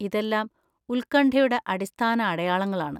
ഇതെല്ലാം ഉത്കണ്ഠയുടെ അടിസ്ഥാന അടയാളങ്ങളാണ്.